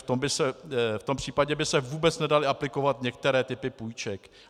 V tom případě by se vůbec nedaly aplikovat některé typy půjček.